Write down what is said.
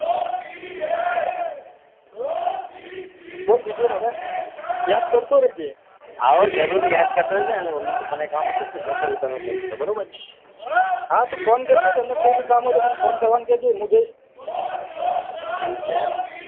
બોલ બીજું હવે યાદ કરતો રહ્જે હા હો જરૂર યાદ કરતો રેઈસ અને mummy ને papa ને કામ હોય તો જજે હો હું તને કઈસ બરોબર ને હા તું ફોન કરજે એમને કોઈ ભી કામ હોય તો મને ફોન કરવાનું કજે મુ જઈસ એવું છે એમ